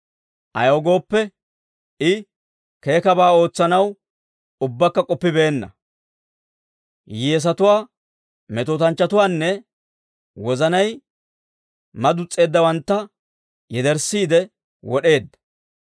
Ayaw gooppe, I keekkabaa ootsanaw ubbakka k'oppibeenna; hiyyeesatuwaa, metootanchchatuwaanne wozanay madus's'eeddawantta yederssiide wod'eedda.